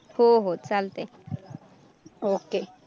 हो चालतंय. okay